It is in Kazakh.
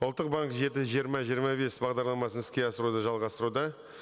ұлттық банк жеті жиырма жиырма бес бағдарламасын іске асыруды жалғастыруда